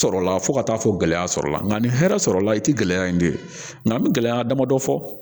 Sɔrɔla fo ka taa fɔ gɛlɛya sɔrɔla la nka ni hɛrɛ sɔrɔla la i ti gɛlɛya in bilen nka n be gɛlɛya dama dɔ fɔ